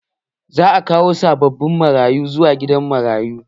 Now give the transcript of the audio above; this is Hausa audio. Za a kawo sabbin marayu zuwa gidan marayun